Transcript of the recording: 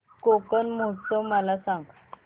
कोकण महोत्सव मला सांग